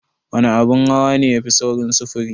Wana abin hawa ne yafi saurin sufuri?